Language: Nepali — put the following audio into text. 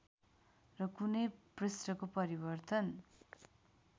र कुनै पृष्ठको परिवर्तन